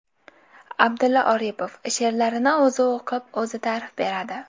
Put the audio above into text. Abdulla Oripov she’rlarini o‘zi o‘qib, o‘zi ta’rif beradi.